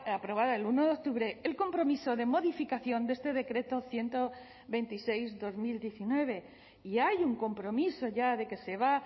aprobada el uno octubre el compromiso de modificación de este decreto ciento veintiséis barra dos mil diecinueve y hay un compromiso ya de que se va